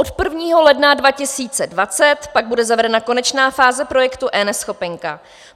Od 1. ledna 2020 pak bude zavedena konečná fáze projektu eNeschopenka.